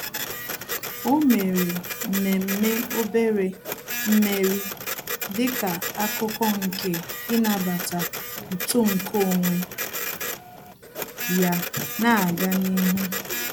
Ọ́ mèrè mmemme obere mmeri dịka ákụ́kụ́ nke ị́nàbàtá uto nke onwe ya nà-ágá n’ihu.